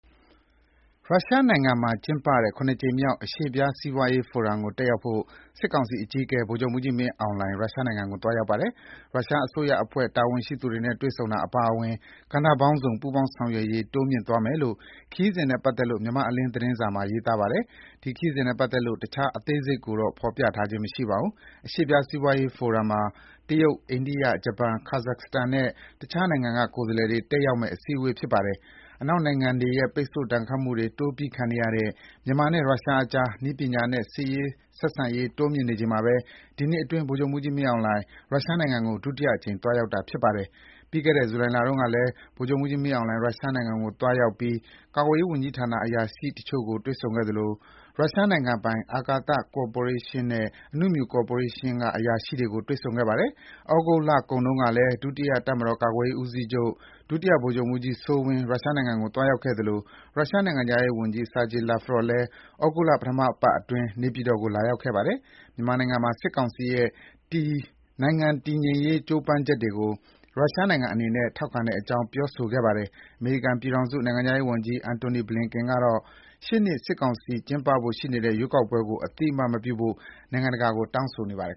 ရုရှားနိုင်ငံမှာ ကျင်းပတဲ့ ၇ ကြိမ်မြောက် အရှေ့ဖျားစီးပွားရေးဖိုရမ်ကို တက်ရောက် ဖို့ စစ်ကောင်စီအကြီးအကဲ ဗိုလ်ချုပ်မှူးကြီး မင်းအောင်လှိုင် ရုရှားနိုင်ငံကို သွားရောက်ပါတယ်။ ရုရှားအစိုးရအဖွဲ့ တာဝန်ရှိသူတွေနဲ့ တွေ့ဆုံတာအပါအဝင် ကဏ္ဍပေါင်းစုံ ပူးပေါင်းဆောင်ရွက်ရေးတိုးမြှင့်သွားမယ်လို့ ခရီးစဉ်နဲ့ပတ်သက်လို့ မြန်မာ့အလင်း သတင်းစာ မှာ ရေးပါတယ်။ ခရီးစဉ်နဲ့ပတ်သက်လို့ တခြားအသေးစိတ်ကိုတော့ ဖေါ်ပြထားခြင်းမရှိပါဘူး။ အရှေ့ဖျားစီးပွားရေးဖိုရမ်မှာ တရုတ်၊ အိန္ဒိယ၊ ဂျပန်၊ Kazakhstan နဲ့ တခြားနိုင်ငံက ကိုယ်စားလှယ်တွေ တက်ရောက်မယ့် အစည်းအဝေးဖြစ်ပါတယ်။ အနောက်နိုင်ငံတွေနဲ့ ပိတ်ဆို့ဒဏ်ခတ်မှုတွေ တိုးပြီးခံနေရတဲ့ မြန်မာနဲ့ ရုရှားအကြား နည်းပညာနဲ့ စစ်ရေး ဆက်ဆံရေးတိုးမြှင့်နေချိန်မှာပဲ ဒီနှစ်အတွင်း ဗိုလ်ချုပ်မှူးကြီးမင်းအောင်လှိုင် ရုရှားနိုင်ငံကို ဒုတိယအကြိမ်သွားရောက်တာပါ။ ဂျုလိုင်လတုန်းကလည်း ဗိုလ်ချုပ်မှူးကြီးမင်းအောင်လှိုင် ရုရှားနိုင်ငံကို သွားရောက်ပြီး ကာကွယ်ရေးဝန်ကြီးဌာနအရာရှိတချို့ကို တွေ့ဆုံခဲ့သလို ရုရှားနိုင်ငံပိုင် အာကာသ ကော်ပိုရေးရှင်းနဲ့ အနုမြူကော်ပိုရေးရှင်းက အရာရှိတွေကို တွေ့ဆုံခဲ့ပါတယ်။ သြဂုတ်လကုန်တုန်းကလည်း ဒုတိယ တပ်မတော်ကာကွယ်ရေး ဦးစီးချုပ် ဗိုလ်ချုပ်မှူးကြီးစိုးဝင်း ရုရှားနိုင်ငံကိုသွားရောက်ခဲ့သလို ရုရှား နိုင်ငံခြားရေးဝန်ကြီး Sergei Lavrov လည်း သြဂုတ်လ ပထပတ်အတွင်း နေပြည်တော်ကို လာရောက် ခဲ့ပါတယ်။ မြန်မာနိုင်ငံမှာ စစ်ကောင်စီရဲ့ နိုင်ငံတည်ငြိမ်ရေးကြိုးပမ်းချက်တွေကို ရုရှားနိုင်ငံအနေနဲ့ ထောက်ခံတဲ့အကြောင်း ပြောဆိုခဲ့ပါတယ်။ အမေရိကန်ပြည်ထောင်စု နိုင်ငံခြားရေးဝန်ကြီး Antony Blinen ကတော့ ရှေ့နှစ် စစ်ကောင်စီ ကျင်းပဖို့ စီစဉ်နေတဲ့ ရွေးကောက်ပွဲကို အသိအမှတ်မပြုဖို့ နိုင်ငံတကာကို တောင်းဆိုနေပါတယ်